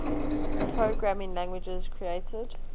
programming languages created